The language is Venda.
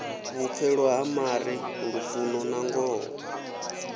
vhupfelo ha mare lufuno nangoho